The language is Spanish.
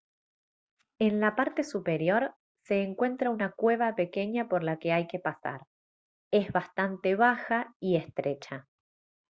en la parte superior se encuentra una cueva pequeña por la que hay que pasar es bastante baja y estrecha